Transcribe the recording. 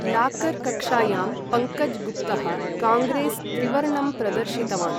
Locker कक्षायां पङ्कज् गुप्तः काङ्ग्रेस् त्रिवर्णं प्रदर्शितवान्।